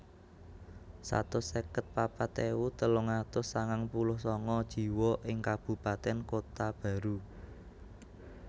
Satus seket papat ewu telung atus sangang puluh sanga jiwa ing kabupatèn Kota Baru